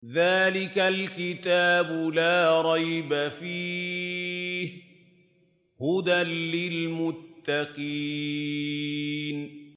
ذَٰلِكَ الْكِتَابُ لَا رَيْبَ ۛ فِيهِ ۛ هُدًى لِّلْمُتَّقِينَ